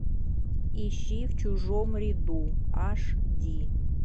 ищи в чужом ряду аш ди